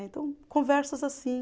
Então, conversas assim.